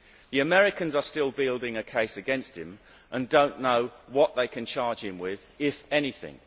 The Americans are still building a case against him and do not know what they can charge him with, if anything.